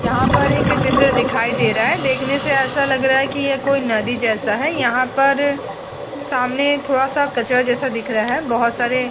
यहां पर एक चित्र दिखाई दे रहा है। देखने से ऐसा लग रहा है कि ये कोई नदी जैसा है। यहां पर सामने थोड़ा सा कचरा जैसा दिख रहा है। बहोत सारे --